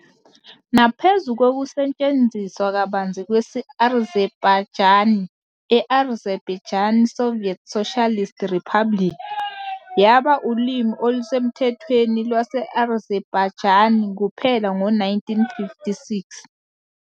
Naphezu kokusetshenziswa kabanzi kwesi-Azerbaijani e- Azerbaijan Soviet Socialist Republic, yaba ulimi olusemthethweni lwase-Azerbaijan kuphela ngo-1956.